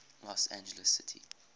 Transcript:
los angeles city